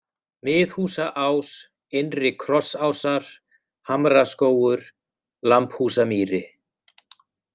Miðhúsaás, Innri-Krossásar, Hamraskógur, Lambhúsamýri